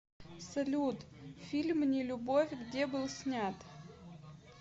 салют фильм не любовь где был снят